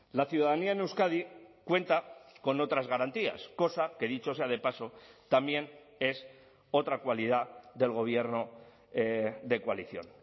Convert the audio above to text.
la ciudadanía en euskadi cuenta con otras garantías cosa que dicho sea de paso también es otra cualidad del gobierno de coalición